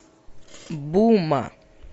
бума